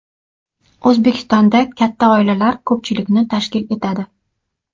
O‘zbekistonda katta oilalar ko‘pchilikni tashkil etadi.